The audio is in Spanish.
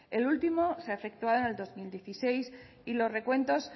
el último se ha efectuado en el dos mil dieciséis y los recuentos